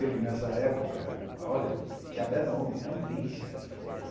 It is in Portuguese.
Ele, nessa época, olha tinha até nome, Andrija.